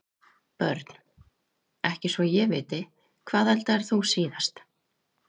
Börn: ekki svo ég viti Hvað eldaðir þú síðast?